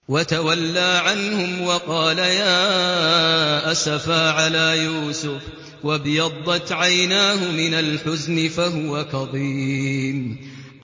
وَتَوَلَّىٰ عَنْهُمْ وَقَالَ يَا أَسَفَىٰ عَلَىٰ يُوسُفَ وَابْيَضَّتْ عَيْنَاهُ مِنَ الْحُزْنِ فَهُوَ كَظِيمٌ